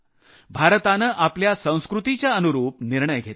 भारतानं आपल्या संस्कृतीच्या अनुरूप निर्णय घेतला